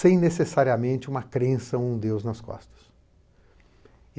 sem necessariamente uma crença a um Deus nas costas.